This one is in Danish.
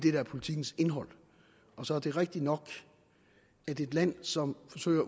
er politikkens indhold så er det rigtigt nok at et land som forsøger